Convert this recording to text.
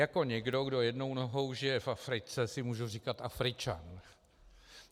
Jako někdo, kdo jednou nohou žije v Africe, si mohu říkat Afričan.